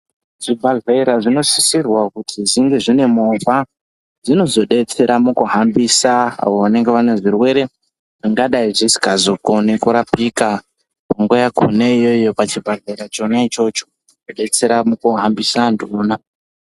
Zvibhedhlera zvino sisirwa kuzi zvinge zvine movha dzinozo detsera muku hambisa avo vanenge vane zvirwere zvingadai zvisinga zokoni kurapika panguva yakona iyoyo pa chibhedhlera chona ichocho chodetsera muku hambisa antu vona.